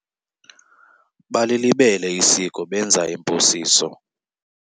Balilibele isiko benza imposiso.